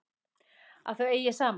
Að þau eigi saman.